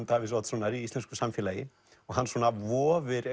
Davíðs Oddssonar í íslensku samfélagi og hann svona vofir